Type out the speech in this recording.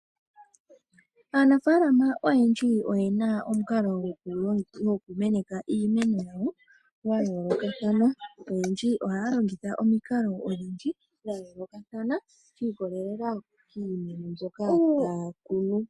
Aanafalama oyendji oye na omukalo gokumeneka iimeno yawo ya yoolokathana. Oyendji ohaya longitha omikalo odhindji dha yoolokathana shi ikolelela kiimeno mbyoka taya kunu.